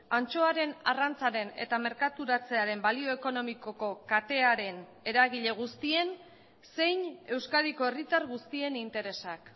antxoaren arrantzaren eta merkaturatzearen balio ekonomikoko katearen eragile guztien zein euskadiko herritar guztien interesak